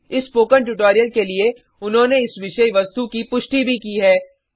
इस spoken tutorial के लिए उन्होंने इस विषय वस्तु की पुष्टि भी की है